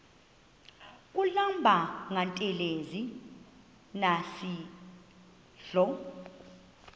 kuhlamba ngantelezi nasidlo